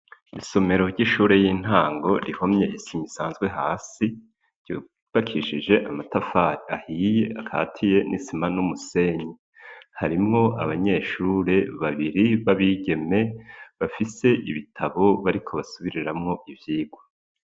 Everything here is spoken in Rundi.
Isomero ry'ishure y'intango, rihomye isima isanzwe hasi, ryubakishije amatafari ahiye akatiye n'isima n'umusenyi; harimwo abanyeshure babiri b'abigeme, bafise ibitabo bariko basubiriramwo ivyigwa.